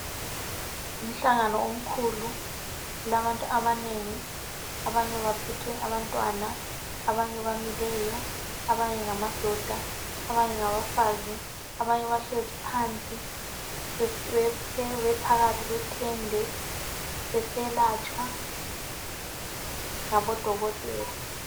Ngumhlangano omkhulu kulabantu abanengi abanye baphethe abantwana, abanye bamileyo, abanye ngamadoda abanye ngabafazi, abanye bahlezi phansi phakathi kwetende beselatshwa ngabo dokotela.